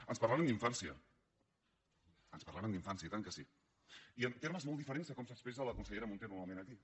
ens parlaren d’infància ens parlaren d’infància oi tant que sí i en termes molt diferents de com s’expressa la consellera munté normalment aquí